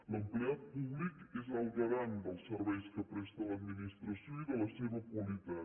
l’empleat públic és el garant dels serveis que presta l’administració i de la seva qualitat